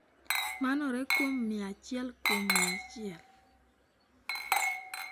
"Manore kuom mia achiel kuom mia achiel."""